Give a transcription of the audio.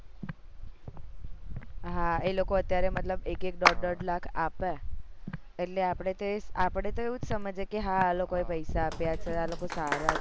હા એ લોકો અત્યારે મતલબ એક એક દોઢ દોઢ લાખ આપે એટલે આપડે તો આપડે તો એવુજ સમજીએ કે હા લોકો એ પૈસા આપ્યા છે આ લોકો સારા છે આમ તે